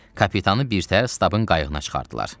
Kapitanı birtəhər Stabın qayığına çıxardılar.